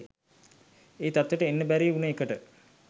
ඒ තත්ත්වෙට එන්න බැරි උන එකට